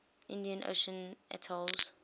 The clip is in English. indian ocean atolls